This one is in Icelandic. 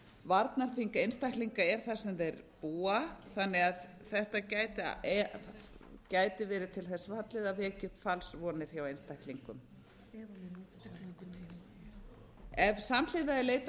varnarþing einstaklinga er þar sem þeir búa þannig að þetta gæti verið til þess fallið að vekja upp falsvonir hjá einstaklingum ef samhliða er leitað